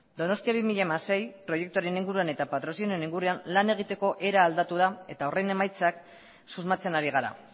donostia bi mila hamasei proiektuaren inguruan eta patrozinioaren inguruan lan egiteko era aldatu da eta horren emaitzak susmatzen ari gara